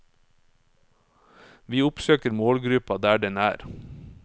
Vi oppsøker målgruppa der den er.